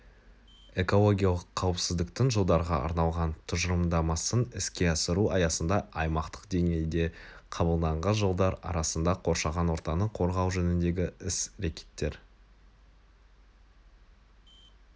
экологиялық қауіпсіздіктің жылдарға арналған тұжырымдамасын іске асыру аясында аймақтық деңгейде қабылданған жылдар арасында қоршаған ортаны қорғау жөніндегі іс-рекеттер